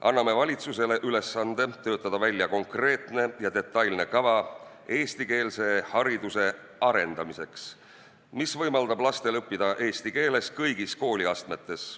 Anname valitsusele ülesande töötada välja konkreetne ja detailne kava eestikeelse hariduse arendamiseks, mis võimaldaks lastel õppida eesti keeles kõigis kooliastmetes.